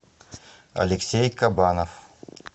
алексей кабанов